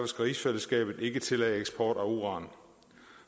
skal rigsfællesskabet ikke tillade eksport af uran